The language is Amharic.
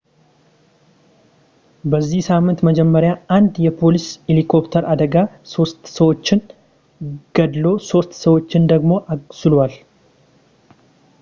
በዚህ ሳምንት መጀመሪያ አንድ የፖሊስ ሄሊኮፕተር አደጋ ሶስት ሰዎችን ገድሎ ሶስት ሰዎችን ደግሞ አቅስሏል